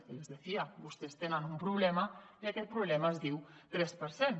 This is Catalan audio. y les decía vostès tenen un problema i aquest problema es diu tres per cent